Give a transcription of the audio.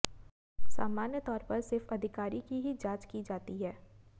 सामान्यतौर पर सिर्फ अधिकारी की ही जांच की जाती है